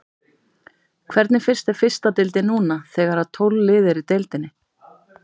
Hvernig finnst þér fyrsta deildin núna þegar að tólf lið eru í deildinni?